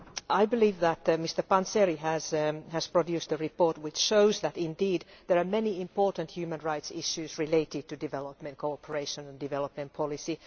I believe that Mr Panzeri has produced a report which shows that, indeed, there are many important human rights issues related to development cooperation and development policy.